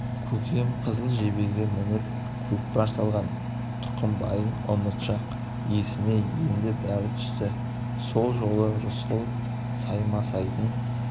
көкем қызыл жебеге мініп көкпар салған тұқымбайдың ұмытшақ есіне енді бәрі түсті сол жолы рысқұл саймасайдың